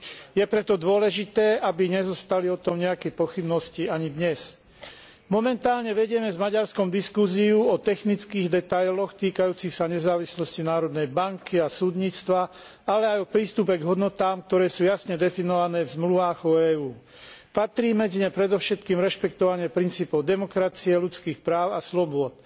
Je preto dôležité, aby o tom neboli žiadne pochybnosti ani dnes. Momentálne vedieme s Maďarskom diskusiu o technických detailoch týkajúcich sa nezávislosti národnej banky a súdnictva, ale aj o prístupe k hodnotám, ktoré sú jasne definované v zmluvách o EÚ. Patrí medzi ne predovšetkým rešpektovanie princípov demokracie, ľudských práv a slobôd.